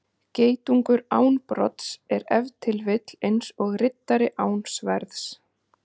Geitungur án brodds er ef til vill eins og riddari án sverðs.